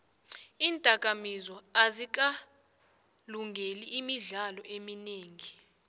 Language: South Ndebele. iinakamizwa azikalingeli imidlalo eminingi